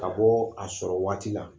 Ka bɔ, a sɔrɔ waati la